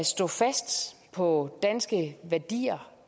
stå fast på danske værdier